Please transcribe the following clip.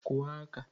Kụọ aka!